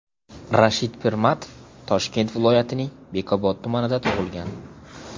Rashid Pirmatov Toshkent viloyatining Bekobod tumanida tug‘ilgan.